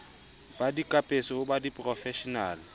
ba dikapeso ho ba diporofeshenale